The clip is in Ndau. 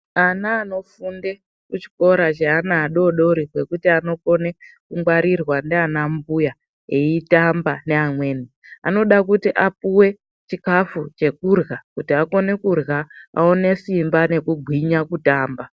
Ana anofunde kuchikora cheadodori chekuti anokone kungwarirwa ndiana mbuya eitamba neamweni. Anoda kuti apuwe chikafu chekudyra kuti akone kudyra aone simba nekugwinya kutamba.